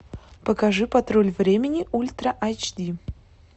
покажи патруль времени ультра айч ди